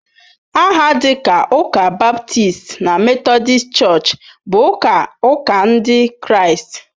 Aha dịka Ụka ​​Baptist na Methodist Church bụ ụka ụka Ndị Kraịst.